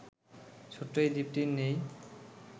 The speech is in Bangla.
ছোট্ট এই দ্বীপটির নেই